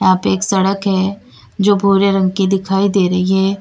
यहां पे एक सड़क है जो भूरे रंग की दिखाई दे रही है।